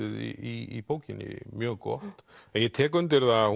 í bókinni mjög gott en ég tek undir það að